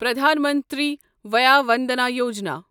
Pradhan Mantri Vaya Vandana Yojana